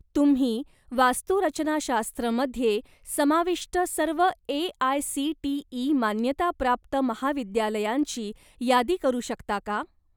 तुम्ही वास्तुरचनाशास्त्र मध्ये समाविष्ट सर्व ए.आय.सी.टी.ई. मान्यताप्राप्त महाविद्यालयांची यादी करू शकता का?